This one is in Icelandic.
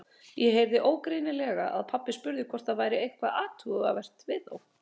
Ég heyrði ógreinilega að pabbi spurði hvort það væri eitthvað athugavert við þá.